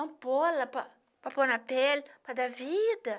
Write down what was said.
Ampola para para pôr na pele, para dar vida.